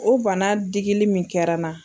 O bana digili min kɛra n na.